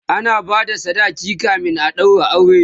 ana bada sadaki kamin a ɗaura aure